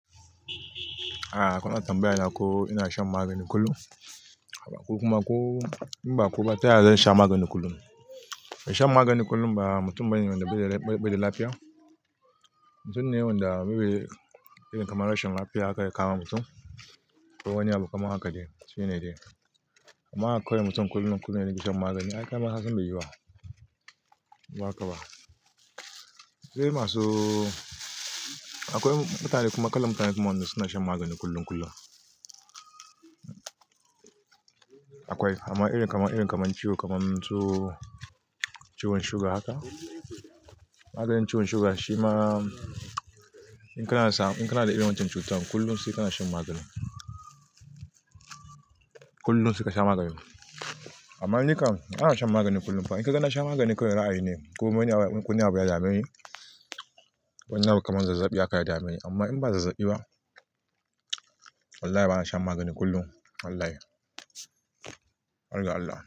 A'a, kuna tambaya na ko ina shan magani kullum. A'a, kuma ko in ba kuwa ba, taya zan sha magani kullum. Shan magani kullum ba, mutum bane da ɓeda lafiya. Mutum ne wanda may be irin kamar rashin lafiya aka yi kamawa mutum ko wani abu kamar haka dai shine dai. Amma aka kai wa mutum kullum kullum yana bi shan magani, ai kai ma kasan bai yuyi wa. Ba haka ba. Sai masu Akwai mutane kuma kallan mutane wanda suna shan magani kullum kullum. Akwai amma irin kamar, irin kamar ciwo kamar ciwon suga haka. Maganin ciwon suga shima in kana da irin wancan cutar kullum sai kana shan magani. Kullum sai ka sha magani. Amma ni kan ba na shan magani kullum ba. In ka ga na sha magani kawai ra'ayi ne ko wani abu ya dame ni wani abu kamar zazzaɓi haka ya dame ni. Amma in ba zazzaɓi ba wallahi bana shan magani kullum wallahi. Allah Allah.